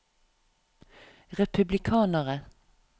republikanere